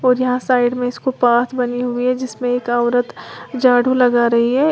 और यहां साइड में इसको पाथ बनी हुई हैं जिसमें एक औरत झाड़ू लगा रही है।